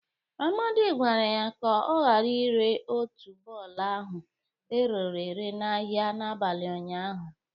Amadị gwara ya ka ọ gara ire otuboala ahụ rere ere n'ahịa n'abali ụnyaahụ.